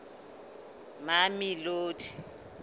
mamelodi